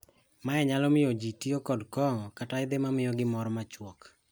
Mae nyalo miyo jii tiyo kong'o kata yedhe ma miyogi mor ma chuok.